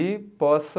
E possa